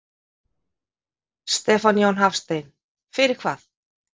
Stefán Jón Hafstein: Fyrir hvað?